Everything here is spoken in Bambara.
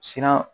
Siran